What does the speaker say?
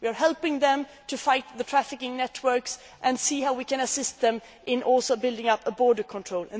We are helping Tunisia to fight the trafficking networks and seeing how we can assist it in building up border control.